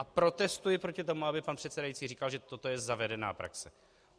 A protestuji proti tomu, aby pan předsedající říkal, že toto je zavedená praxe.